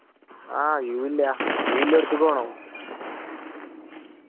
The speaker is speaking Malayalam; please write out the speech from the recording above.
ആ view ഇല്ല. view ഇല്ലടുത്തക്ക് വേണൊ .